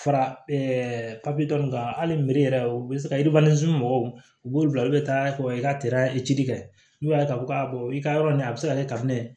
Fara papi dɔ in kan hali mere yɛrɛ u bɛ se ka mɔgɔw b'olu bila olu bɛ taa i ka kɛ n'u y'a ye k'a fɔ i ka yɔrɔ nin a bɛ se ka kɛ ka ne